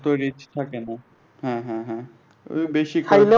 তৈরি থাকেনা হ্যাঁ হ্যাঁ হ্যাঁ ঐ বেশি